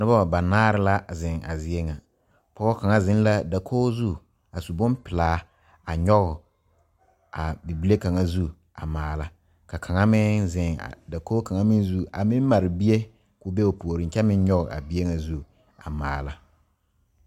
Noba banaare la zeŋ a zie ŋa pɔge kaŋa zeŋ la dakogi zu a su bonpelaa a nyɔge a bibile kaŋ zu a maala ka kaŋ meŋ zeŋ dakogi kaŋ meŋ zu a meŋ mare bie k,o be o puoriŋ kyɛ meŋ nyɔge a bie ŋa zu a maala.